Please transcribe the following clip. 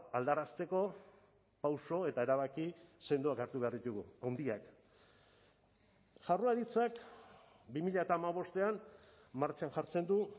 aldarazteko pauso eta erabaki sendoak hartu behar ditugu handiak jaurlaritzak bi mila hamabostean martxan jartzen du